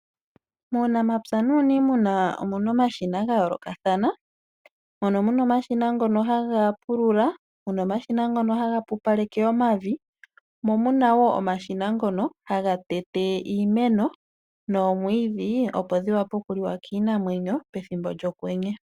Muunamapya nuuniimuna omuna omashina gayoolokathana. Mono muna omashina ngono haga pulula, muna omashina ngono haga pupaleke omavi, mo muna wo omashina ngono haga tete iimeno noomwiidhi, opo dhiwape okuliwa kiinamwenyo pethimbo lyokwenye.